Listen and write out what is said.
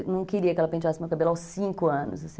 Eu não queria que ela penteasse meu cabelo aos cinco anos, assim.